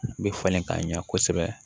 U bɛ falen ka ɲa kosɛbɛ